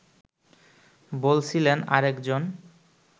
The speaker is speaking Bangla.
বলছিলেন আরেকজন